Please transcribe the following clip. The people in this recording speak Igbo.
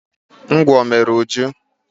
Ngwọ mere Uju.